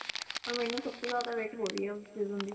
or ਮੈਨੂੰ ਸਭ ਤੋਂ ਜਿਆਦਾ wait ਹੋ ਰਹੀ ਆ ਉਸ season ਦੀ